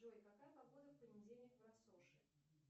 джой какая погода в понедельник в россоши